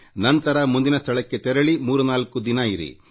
ನಂತರ ಮುಂದಿನ ಸ್ಥಳಕ್ಕೆ ತೆರಳಿ ಅಲ್ಲೂ ಮೂರು ದಿನ ಇರಿ